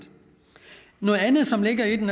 noget andet som ligger i det